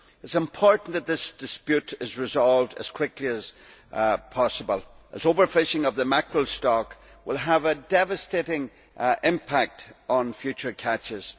It is important that this dispute is resolved as quickly as possible, because over fishing of the mackerel stock will have a devastating impact on future catches.